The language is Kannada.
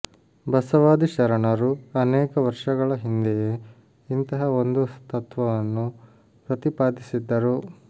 ಬಸವಾದಿ ಶರಣರು ಅನೇಕ ವರ್ಷಗಳ ಹಿಂದೆಯೇ ಇಂತಹ ಒಂದು ತತ್ವವನ್ನು ಪ್ರತಿಪಾದಿಸಿದ್ದರು